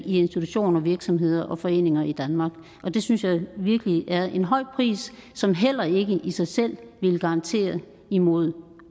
i institutioner virksomheder og foreninger i danmark og det synes jeg virkelig er en høj pris som heller ikke i sig selv vil garantere imod